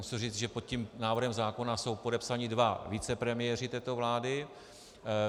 Musím říci, že pod tím návrhem zákona jsou podepsaní dva vicepremiéři této vlády.